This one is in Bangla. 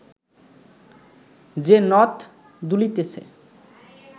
যে নথ দুলিতেছে